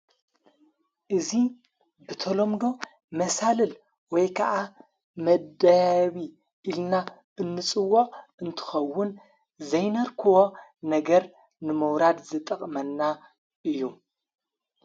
እዙይ ብተሎምዶ መሣልል ወይ ከዓ መደቢ ኢልና እንጽዎ እንትኸውን ዘይነርክዎ ነገር ንመውራድ ዝጠቕመና እዩ።